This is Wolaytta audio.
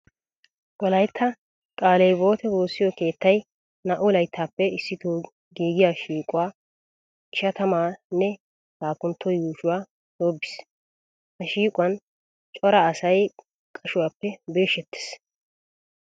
Wolaytta qaale hiwwote woossiyo keettay naa"u layttaappe issito giigiya shiiquwa ishatama nne laappuntto yuushuwa shoobbiis. Ha shiiquwan cora asay qashuwappe birshshettiis.